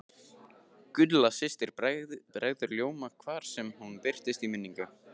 Gulla systir bregður ljóma hvar sem hún birtist í minningunni.